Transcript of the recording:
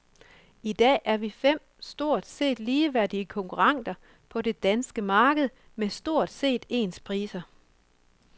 I dag er vi fem stort set ligeværdige konkurrenter på det danske marked med stort set ens priser.